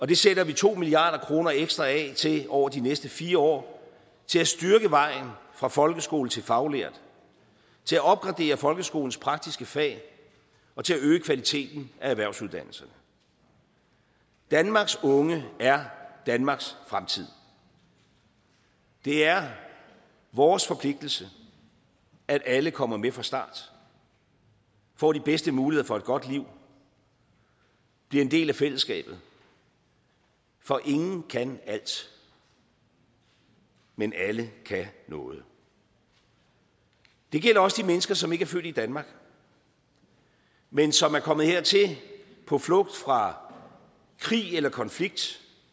det sætter vi to milliard kroner ekstra af til over de næste fire år til at styrke vejen fra folkeskole til faglært til at opgradere folkeskolens praktiske fag og til at øge kvaliteten af erhvervsuddannelserne danmarks unge er danmarks fremtid det er vores forpligtelse at alle kommer med fra start får de bedste muligheder for et godt liv og bliver en del af fællesskabet for ingen kan alt men alle kan noget det gælder også de mennesker som ikke er født i danmark men som er kommet hertil på flugt fra krig eller konflikt